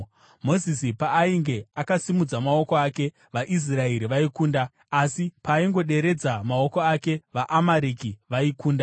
Mozisi paainge akasimudza maoko ake, vaIsraeri vaikunda, asi paaingoderedza maoko ake, vaAmareki vaikunda.